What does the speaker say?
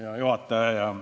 Hea juhataja!